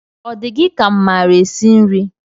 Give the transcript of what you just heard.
Ọ di gị ka m maara esi nri?